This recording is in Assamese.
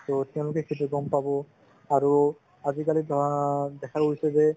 so তেওঁলোকে সেইটো গম পাব আৰু আজিকালি ধৰা দেখা গৈছে যে